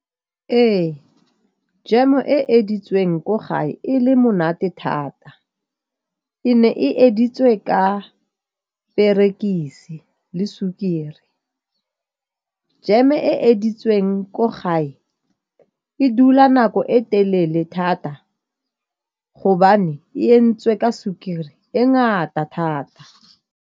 Ee, jam-o e editseng ko gae e le monate thata. E ne e editswe ka perekise le sukiri. Jam-e e editseng ko gae e dula nako e telele thata gobane e ka sukiri e ngata thata.